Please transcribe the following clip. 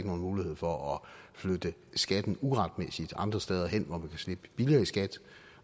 nogen mulighed for at flytte skatten uretmæssigt andre steder hen hvor man slippe billigere i skat